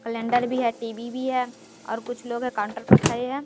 Calendar भी है TV भी है और कुछ लोग है काउंटर पर खड़े है।